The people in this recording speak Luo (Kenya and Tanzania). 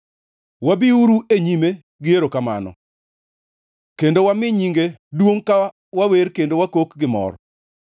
Wabiuru e nyime gi erokamano kendo wami nyinge duongʼ ka wawer kendo wakok gi mor.